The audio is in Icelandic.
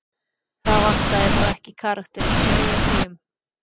Það vantaði þó ekki karakterinn hjá Eyjapeyjum.